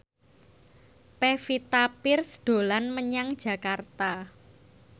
Pevita Pearce dolan menyang Jakarta